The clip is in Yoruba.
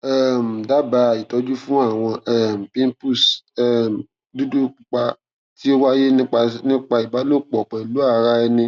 um daba itọju fun awọn pimples dudu pupa ti o waye nipasẹ iba lopo pelu ara eni